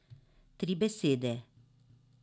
Tri besede.